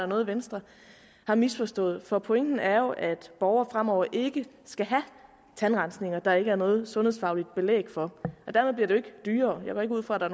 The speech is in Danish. noget venstre har misforstået for pointen er jo at borgere fremover ikke skal have tandrensninger som der ikke er noget sundhedsfagligt belæg for og dermed bliver det jo ikke dyrere jeg går ikke ud fra at der